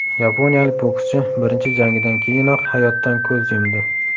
Yaponiyalik bokschi birinchi jangidan keyinoq hayotdan ko‘z yumdi.